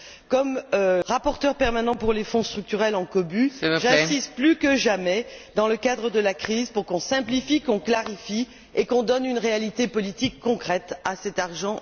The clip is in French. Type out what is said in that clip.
Comme rapporteur permanent pour les fonds structurels en cobu, j'insiste plus que jamais, dans le cadre de la crise, pour qu'on simplifie, qu'on clarifie et qu'on donne une réalité politique concrète à cet argent européen.